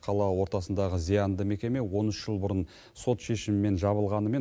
қала ортасындағы зиянды мекеме он үш жыл бұрын сот шешімімен жабылғанымен